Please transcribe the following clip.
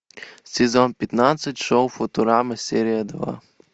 сезон пятнадцать шоу футурама серия два